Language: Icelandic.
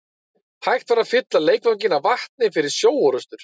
Hægt var að fylla leikvanginn af vatni fyrir sjóorrustur.